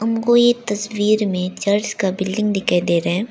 हमको ये तस्वीर में चर्च का बिल्डिंग दिखाई दे रहा है।